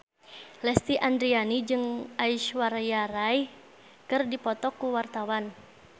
Lesti Andryani jeung Aishwarya Rai keur dipoto ku wartawan